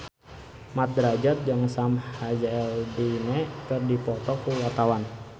Mat Drajat jeung Sam Hazeldine keur dipoto ku wartawan